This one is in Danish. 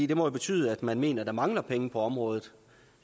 det må jo betyde at man mener der mangler penge på området